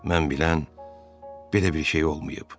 Mən bilən belə bir şey olmayıb.